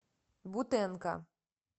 бутенко